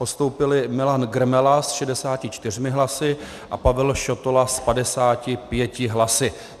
Postoupili Milan Grmela s 64 hlasy a Pavel Šotola s 55 hlasy.